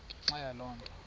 ngenxa yaloo nto